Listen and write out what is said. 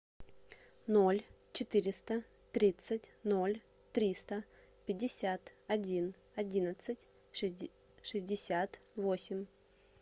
ноль четыреста тридцать ноль триста пятьдесят один одиннадцать шестьдесят восемь